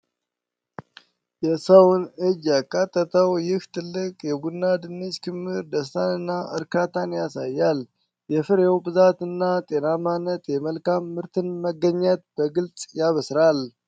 የሰውን እጅ ያካተተው ይህ ትልቅ የቡናማ ድንች ክምር ደስታና እርካታን ያሳያል። የፍሬው ብዛትና ጤናማነት የመልካም ምርት መገኘትን በግልጽ ያበስራል ።